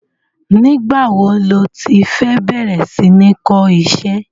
Nigba wo lo ti fẹ bẹrẹ sí ní kọ iṣẹ́?